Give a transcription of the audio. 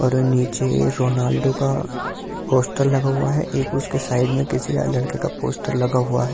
और नीचे रॉनाल्‍डो का पोस्‍टर लगा हुआ है एक उसके साइड में किसी और लड़के का पोस्‍टर लगा हुआ है ए--